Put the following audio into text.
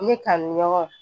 Ne ka nin ɲɔgɔn